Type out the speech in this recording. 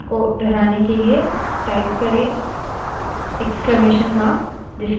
विशेष command को दोहराने के लिए